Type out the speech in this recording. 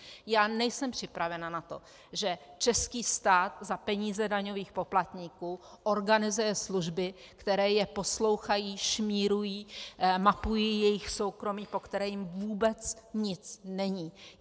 Já nejsem připravena na to, že český stát za peníze daňových poplatníků organizuje služby, které je poslouchají, šmírují, mapují jejich soukromí, po kterém jim vůbec nic není.